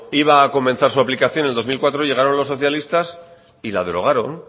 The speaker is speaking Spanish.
iba a comenzar su aplicación en el dos mil cuatro llegaron los socialistas y la derogaron